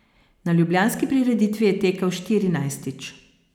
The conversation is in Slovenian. Na ljubljanski prireditvi je tekel štirinajstič.